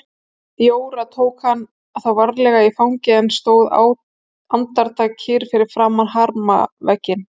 Jóra tók hann þá varlega í fangið en stóð andartak kyrr fyrir framan hamravegginn.